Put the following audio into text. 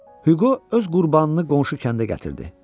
Hüqo öz qurbanını qonşu kəndə gətirdi.